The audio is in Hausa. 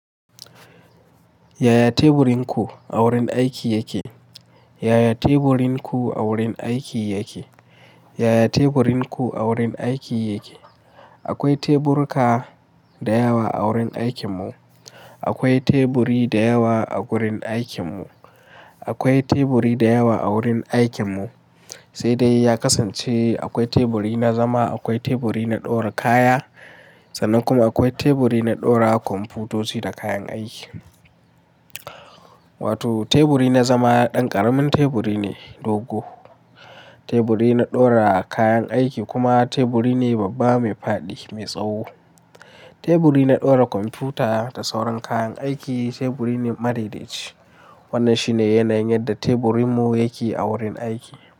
Yaya teburin ku a wurin aiki yake? Yaya teburin ku a wurin aiki yake? Yaya teburin ku a wurin aiki yake? Akwai teburuka da yawa a wurin aikin mu. Akwai teburi da yawa a gurin aikin mu. Akwai teburi da yawa a wurin aikin mu, sai dai ya kasance akwai teburi na zama, akwai teburi na ɗora kaya sannan kuma akwai teburi na ɗora kwamfutoci da kayan aiki. Wato teburi na zama ɗan ƙaramin teburi ne dogo. Teburi na ɗora kayan aiki kuma teburi ne babba mai faɗi mai tsawo. Teburi na ɗora kwamfuta da sauran kayan aiki teburi ne madaidaici. Wannan shi ne yanayin yadda teburin mu yake a wurin aiki.